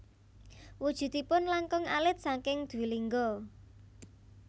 Wujudipun langkung alit saking dwilingga